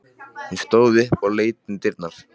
Hún stóð upp og leit út um dyrnar.